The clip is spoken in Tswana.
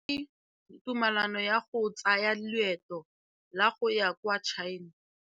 O neetswe tumalanô ya go tsaya loetô la go ya kwa China.